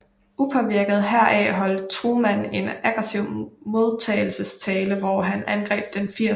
Upåvirket heraf holdt Truman en aggressiv modtagelsestale hvor han angreb den 80